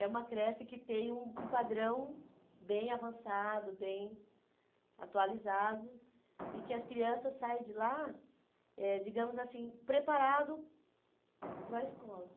É uma creche que tem um um padrão bem avançado, bem atualizado, e que as crianças saem de lá, eh digamos assim, preparado para a escola.